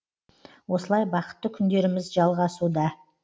осылай бақытты күндеріміз жалғасуда